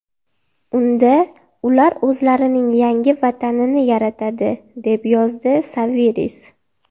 Unda ular o‘zlarining yangi vatanini yaratadi”, deb yozdi Saviris.